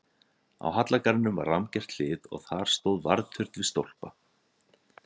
Á hallargarðinum var rammgert hlið og þar stóð varðturn við stólpa.